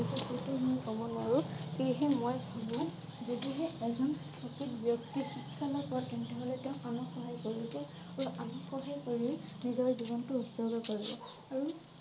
কব নোৱাৰে সেয়েহে মই ভাবো যদিহে এজন সঠিক ব্যক্তি শিক্ষা লাভ কৰে তেন্তে হলে তেওঁ আমাক সহায় কৰিব আমাক সহায় কৰি নিজৰ জীৱন টো উজ্জ্বল কৰে আৰু